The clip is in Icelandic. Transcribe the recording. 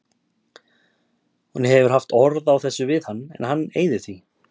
Hún hefur haft orð á þessu við hann en hann eyðir því.